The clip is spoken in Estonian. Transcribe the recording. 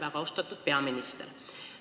Väga austatud peaminister!